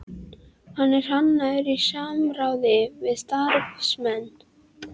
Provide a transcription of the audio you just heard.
Hann er hannaður í samráði við starfsmenn